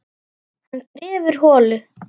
Hann grefur holu.